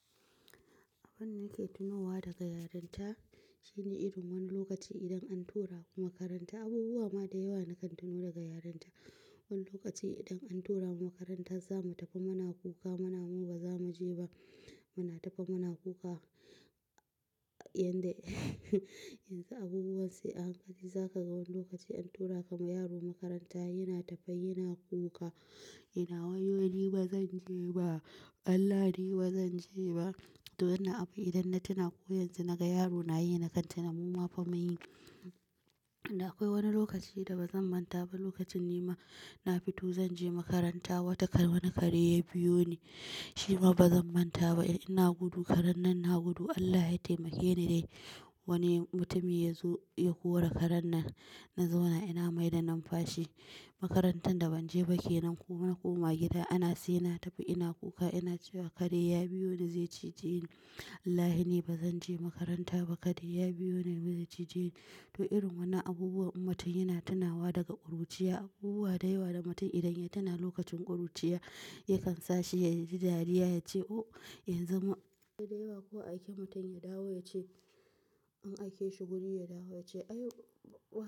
Abin da nake tunowa daga yarinta shine irin wani lokaci idan an turaku makaranta, abubuwa ma da yawa na kan tuno daga yarinta. Wani lokaci idan an turamu makaranta zamu tafi muna kuka, muna mu baza muje ba. Muna tafi muna kuka yanda yanzu abubuwan sai a hankali zaka ga wani lokaci antura kaman yaro makaranta yana tafe yana kuka, yana wayyo ni bazan je ba, Allah ni bazan je ba. To wannan abu idan na tuna ko yanzu naga yaro nayi na kan tuna muma fa munyi. Da akwai wani lokaci da bazan manta ba, lokacin ni ma na fito zanje makaranta, wata kare wani kare ya biyo ni. Shi ma bazan manta ba, ina gudu karen nan na gudu Allah ya taimake ni dai. Wani mutumi yazo ya kore karen nan na zauna ina maida numfashi. Makarantar da ban je ba kenan ko na koma gida ana saina tafi ina kuka ina cewa kare ya biyoni zai cije ni. Wallahi ni bazan je makaranta ba, kare ya biyoni zai cije ni. To irin wannan abubuwan mutum yana tunawa daga ƙuruciya, abubuwa da yawa da mutum idan ya tuna lokacin ƙuruciya yakan sashi yaji dariya yace o yanzu ma. Da yawa ko aiki mutum ya dawo yace in aikeshi guru ya dawo yace ayy.